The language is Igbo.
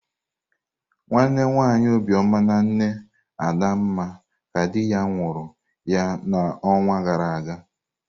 Nwanne nwanyi Obioma na nne Adanma ka di ya nwuna huru ya n'ọnwa gara aga.